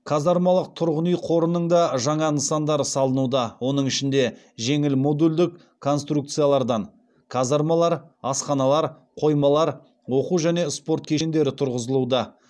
казармалық тұрғын үй қорының да жаңа нысандары салынуда оның ішінде жеңіл модульдік конструкциялардан казармалар асханалар қоймалар оқу және спорт кешендері тұрғызылуда